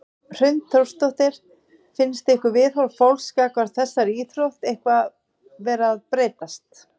Hrund Þórsdóttir: Finnst ykkur viðhorf fólks gagnvart þessari íþrótt eitthvað vera að breytast?